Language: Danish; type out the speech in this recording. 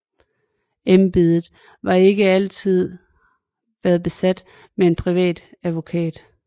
Embedet har ikke altid været besat med en privat advokat